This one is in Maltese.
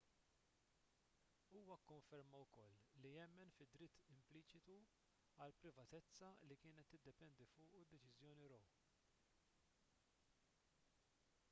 huwa kkonferma wkoll li jemmen fid-dritt impliċitu għall-privatezza li kienet tiddependi fuqu d-deċiżjoni roe